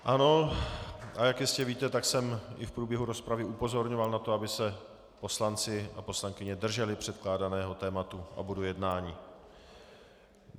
Ano, a jak jistě víte, tak jsem i v průběhu rozpravy upozorňoval na to, aby se poslanci a poslankyně drželi předkládaného tématu a bodu jednání.